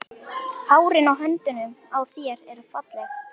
Hárin á höndunum á þér eru falleg.